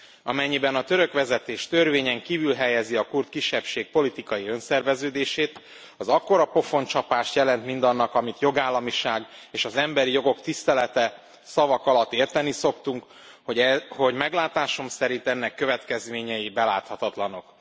Amennyiben a török vezetés törvényen kívül helyezi a kurd kisebbség politikai önszerveződését, az akkora pofoncsapást jelent mindannak, amit jogállamiság és az emberi jogok tisztelete szavak alatt érteni szoktunk, hogy meglátásom szerint ennek következményei beláthatatlanok.